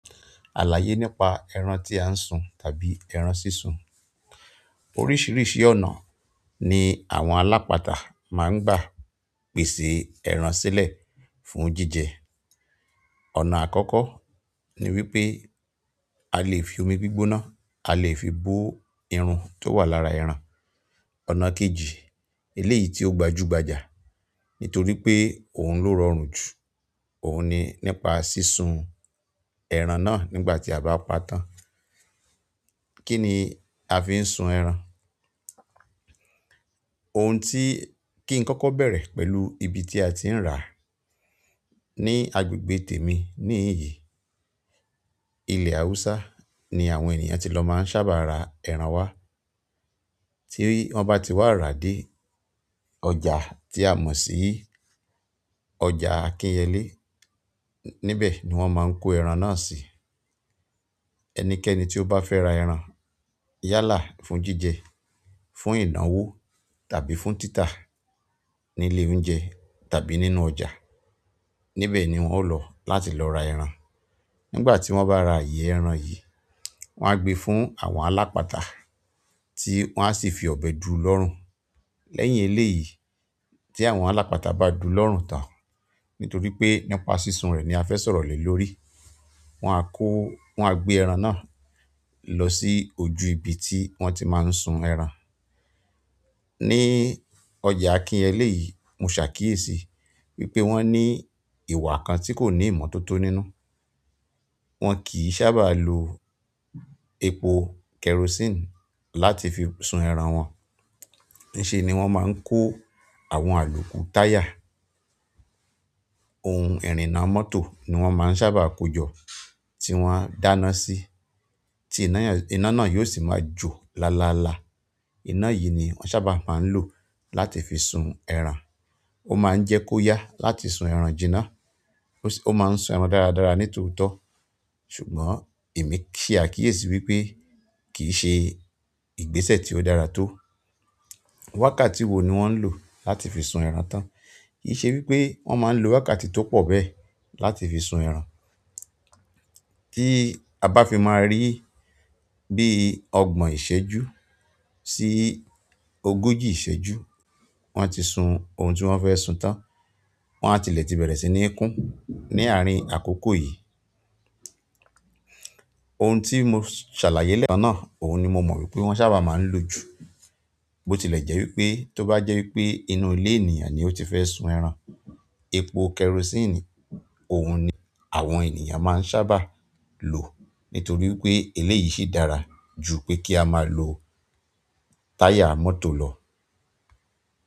Àlàyé nípa ẹran tí a ń sun tàbí ẹran sísun. Oríṣiríṣi ọ̀nà ni àwọn alápatà máa ń gbà pèsè ẹran sílẹ̀ fún jíjẹ. Ọ̀nà àkọ́kọ́ ni wípé a lè fi omi gbígbóná, a lè fi bó irun tó wà lára ẹran. Ọ̀nà kejì, eléyìí tí ó gbajúgbajà nítorí pé òun ló rọrùn jù, òun ni nípa sísun ẹran náà nígbà tí a bá pa tán. Kí ni a fi ń sun ẹran? Ohun tí, kí n kọ́kọ́ bẹ̀rẹ̀ pẹ̀lú ibi tí a ti ń rà. Ni agbègbè tèmi ní ìyí, ilẹ̀ Haúsá ni àwọn ènìyàn ti lọ máa ń sábà ra ẹran wá. Tí wọ́n bá ti wá rà dé, ọjà tí a mọ̀ sí ọjà Akínyẹlé, níbẹ̀ ni wọ́n máa ń kó ẹran náà sí. Ẹni kẹ́ni tí ó bá fẹ́ ra ẹran, yálà fún jíjẹ, fún ìnáwó tàbí fún títà ní ilé oúnjẹ tàbí nínú ọjà níbẹ̀ ni wọ́n ń lọ láti lọ ra ẹran. Nígbà tí wọ́n bá ra àyè ẹran yìí, wọ́n á gbé fún àwọn alápatà tí wọ́n á sì fi ọ̀bẹ du lọ́rùn. Lẹ́yìn eléyìí tí àwọn alápatà bá du lọ́run tán, nítorí pé nípa sísun rẹ̀ ni a fẹ́ sọ̀rọ̀ lè lórí, wọ́n á kó, wọ́n á gbé ẹran náà lọ sí ojú ibi tí wọ́n ti máa ń sun ẹran. Ni ọjà Akínyẹ́lé yìí, mo ṣàkíyèsí wípé wọ́n ní ìwà kan tí kò ní ìmọ̀ tó tó nínú. Wọn kì í sábà lo epo kerosene láti fi sun ẹran wọn. Nìṣe ni wọ́n máa ń kó. Àwọn àlòkù táyà, ohun ìrìnà mọ́tò ni wọ́n máa ń sábà kó jọ tí wọ́n á dáná sí, tí iná náà yóò sì máa jò láláláá. Iná yìí ni wọ́n sábà máa ń lò láti fi sun ẹran. Ó máa ń jẹ́ kó yá láti sún ẹran jinná, ó sì, ó máa ń sún ẹran dáradára ní tòótọ́. Ṣùgbọ́n èmi ṣàkíyèsí wípé kì í ṣe ìgbésẹ̀ tí ó dára tó. Wákàtí wo ni wọ́n ń lò láti fi sun ẹran tán? Kì í ṣe wípé wọ́n máa ń lo wákàtí tó pọ̀ bẹ́ẹ̀ láti fi sun ẹran. Tí a bá fi máa rí bí ọgbọ̀n ìṣéjú sí ogójì ìṣéjú wọ́n ti sun ohun tí wọ́n fẹ́ sun tán, wọ́n á tilẹ̀ ti bẹ̀rẹ̀ sí ní kún ní àárín àkókò yìí. Ohun tí mo ṣàlàyé lẹ́ẹ̀kan náà, òun ni mo mọ̀ wípé wọ́n sábà máa ń lò jù. Bó ti lẹ̀ jẹ́ wípé, tọ́ bá jẹ́ wípé nínú ilé àníyàn ni lmo ti fẹ́ sún ẹran, epo koresine òun ni àwọn ènìyàn máa sábà ń lò nítorí wípé eléyìí ṣì dára jù pé k'á máa lo táyà mọ́tò lọ.